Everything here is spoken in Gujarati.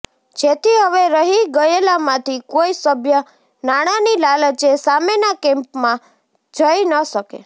જેથી હવે રહી ગયેલામાંથી કોઈ સભ્ય નાણાની લાલચે સામેના કેમ્પમાં જઈ ન શકે